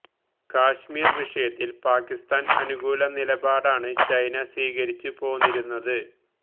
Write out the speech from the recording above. കാശ്മീർ വിഷയത്തിൽ പാകിസ്ഥാൻ അനുകൂല നിലപടാണ് ചൈന സ്വീകരിച്ചു പോന്നിരുന്നത്